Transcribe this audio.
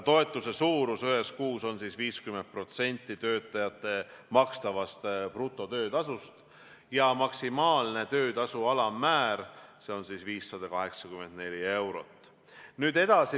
Toetuse suurus ühes kuus on 50% töötajale makstavast brutotöötasust ja maksimaalne töötasu alammäär on 584 eurot.